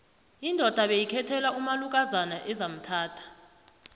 indoda beyikhethelwa umalukozana ezamthatha